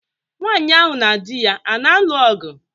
Nwaanyị ahụ na di ya a na-anụ ọgụ?